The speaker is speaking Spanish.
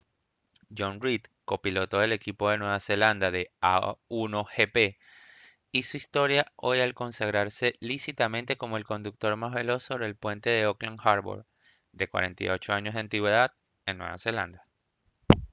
jonny reid copiloto del equipo de nueva zelanda de a1gp hizo historia hoy al consagrarse lícitamente como el conductor más veloz sobre el puente de auckland harbour de 48 años de antigüedad en nueva zelanda